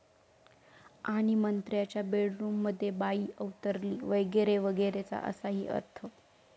...आणि मंत्र्यांच्या बेडरूममध्ये 'बाई' अवतरली!' 'वगैरे वगैरे'चा असाही अर्थ